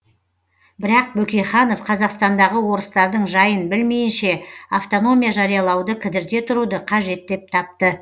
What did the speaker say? бірақ бөкейханов қазақстандағы орыстардың жайын білмейінше автономия жариялауды кідірте тұруды қажет деп тапты